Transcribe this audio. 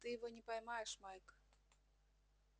ты его не поймаешь майк